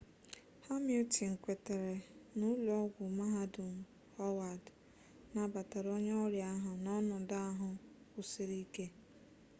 hamilton kwetere na ụlọ ọgwụ mahadum howard nabatara onye ọrịa ahụ n'ọnọdụ ahụ kwụsiri ike